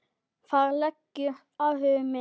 Þar liggur áhugi minn.